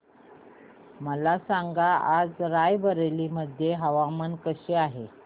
मला सांगा आज राय बरेली मध्ये हवामान कसे आहे